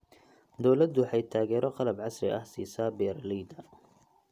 Dawladdu waxay taageero qalab casri ah siisaa beeralayda.